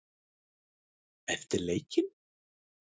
Eftir leikinn?